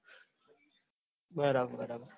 બરાબર